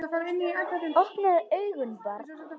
Opnaðu augun barn!